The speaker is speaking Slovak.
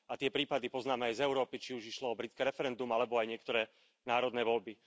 A tie prípady poznáme aj z Európy, či už išlo o britské referendum, alebo aj o niektoré národné voľby.